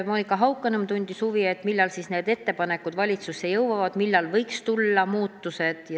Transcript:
Monika Haukanõmm tundis huvi, millal need ettepanekud valitsusse jõuavad ja millal võiks tulla muutused.